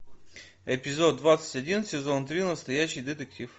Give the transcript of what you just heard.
эпизод двадцать один сезон три настоящий детектив